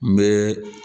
N bɛ